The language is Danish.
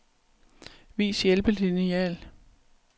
Vis hjælpelineal.